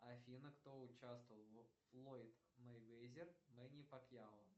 афина кто участвовал в флойд мейвезер мэнни пакьяо